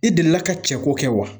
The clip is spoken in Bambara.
I delila ka cɛ ko kɛ wa?